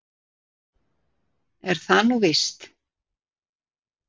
Er það nú víst?